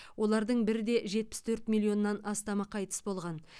олардың бір де жетпіс төрт миллионнан астамы қайтыс болған